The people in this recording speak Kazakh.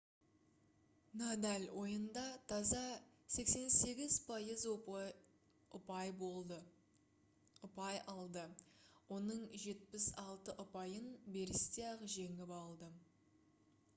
надаль ойында таза 88% ұпай алды оның 76 ұпайын берісте-ақ жеңіп алды